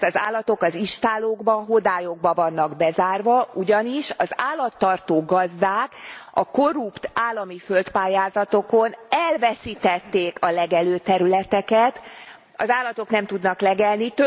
Mert az állatok az istállókba, hodályokba vannak bezárva, ugyanis az állattartó gazdák a korrupt állami földpályázatokon elveszítették a legelőterületeket, az állatok nem tudnak legelni.